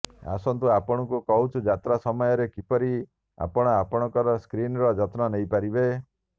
ଆସନ୍ତୁ ଆପଣଙ୍କୁ କହୁଛୁ ଯାତ୍ରା ସମୟରେ କିପରି ଆପଣ ଆପଣଙ୍କ ସ୍କିନ୍ର ଯତ୍ନ ନେଇ ପାରିବେ